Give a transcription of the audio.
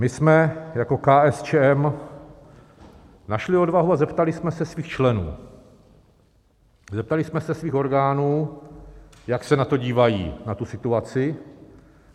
My jsme jako KSČM našli odvahu a zeptali jsme se svých členů, zeptali jsme se svých orgánů, jak se na to dívají, na tu situaci.